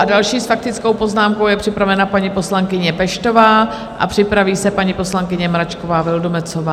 A další s faktickou poznámkou je připravena paní poslankyně Peštová a připraví se paní poslankyně Mračková Vildumetzová.